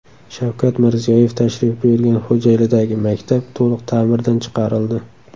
Shavkat Mirziyoyev tashrif buyurgan Xo‘jaylidagi maktab to‘liq ta’mirdan chiqarildi .